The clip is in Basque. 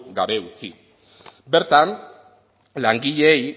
gabe utzi bertan langileei